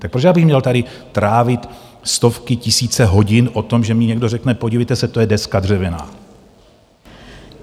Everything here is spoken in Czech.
Tak proč já bych měl tady trávit stovky, tisíce hodin o tom, že mi někdo řekne podívejte se, to je deska dřevěná?